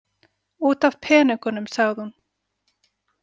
Út af peningunum, sagði hún.